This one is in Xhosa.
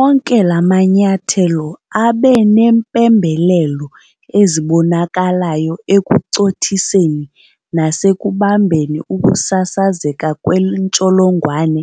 Onke la manyathelo abe neempembelelo ezibonakalayo ekucothiseni nasekubambeni ukusasazeka kwentsholongwane